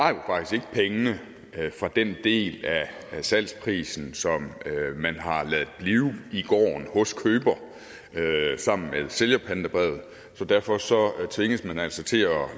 pengene fra den del af salgsprisen som man har ladet blive i gården hos køber sammen med sælgerpantebrevet så derfor tvinges man altså til at